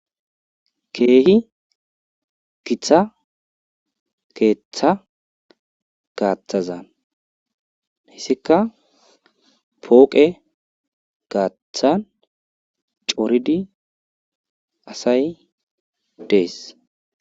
Keehi githa keeththa gaathaza hessika pooqe gaathan coridi asay des.